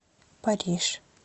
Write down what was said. париж